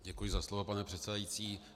Děkuji za slovo, pane předsedající.